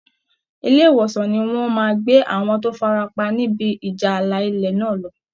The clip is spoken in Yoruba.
Ilé ìwòsàn ni wọ́n máa gbé àwọn tó farapa nibi ìjà ààlà ilẹ̀ náà lọ